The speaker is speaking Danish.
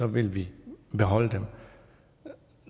vil vi beholde dem